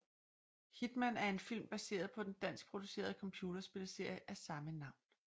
Hitman er en film baseret på den danskproducerede computerspilsserie af samme navn